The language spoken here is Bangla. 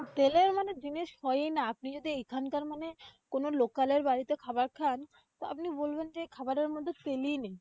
তেলের মানে জিনিস হয় না। আপনি যদি এইখানকার মানে কোন local এর বাড়িতে খাবার খান। তো আপনি বলবেন যে এই খাবারের মধ্যে তেলেই নেই।